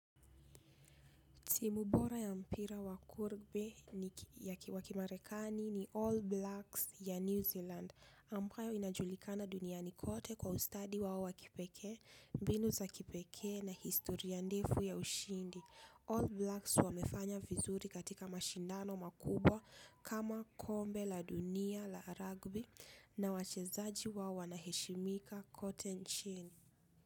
Timu bora ya mpira wa kurbe wa kimarekani ni All Blacks ya New Zealand ambayo inajulikana dunia nikote kwa ustadi wao wakipeke, mbinu za kipeke na historia ndefu ya ushindi. All Blacks wamefanya vizuri katika mashindano makubwa kama kombe la dunia la rugby na wachezaji wao wanaheshimika kote nchini.